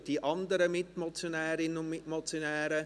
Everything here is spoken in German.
Die anderen Mitmotionärinnen und Mitmotionäre: